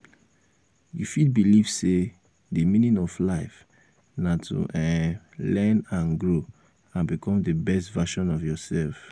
you fit believe um say di meaning of life na to um learn and grow and become di best version of of yourself. um